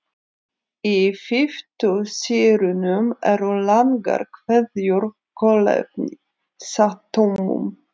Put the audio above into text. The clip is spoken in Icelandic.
Í fitusýrunum eru langar keðjur kolefnisatómum.